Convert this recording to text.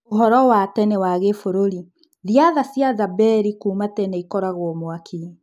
ũhoro wa tene wa Gĩbũrũri Thiatha cia Zamberi kuuma tene ikoragwo mwaki.